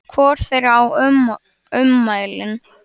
Hvor þeirra á ummælin?